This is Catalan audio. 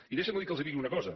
i deixin me que els digui una cosa